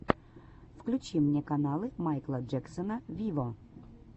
включи мне каналы майкла джексона виво